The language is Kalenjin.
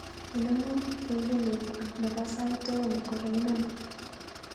Inemu kengelenyu nebo sait aeng kogaimen